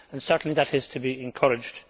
Certainly that is to be encouraged.